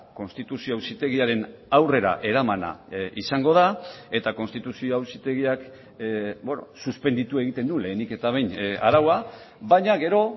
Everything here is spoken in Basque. konstituzio auzitegiaren aurrera eramana izango da eta konstituzio auzitegiak suspenditu egiten du lehenik eta behin araua baina gero